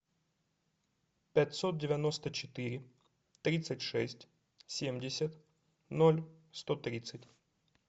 пятьсот девяносто четыре тридцать шесть семьдесят ноль сто тридцать